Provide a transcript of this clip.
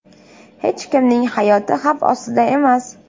Hech kimning hayoti xavf ostida emas.